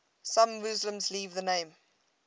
some muslims leave the name